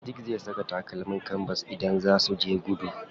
Sadiq zai saka takalmin kanbas idan zaa suje gudu.